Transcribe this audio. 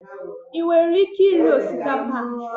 I nwere ike iri osikapa a?